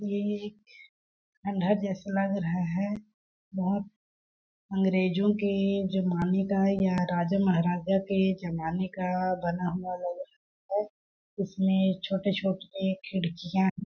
यह एक खंडहर जैसा लग रहा हे बहुत अंग्रेजो के ज़माने का यह राजा महराजा के ज़माने का बना हुआ लग रहा हे इसमें छोटे छोटे खिड़किया--